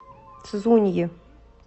цзуньи